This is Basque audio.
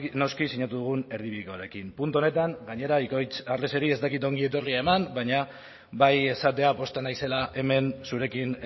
noski sinatu dugun erdibidekoarekin puntu honetan gainera ikoitz arreseri ez dakit ongi etorria eman baina bai esatea pozten naizela hemen zurekin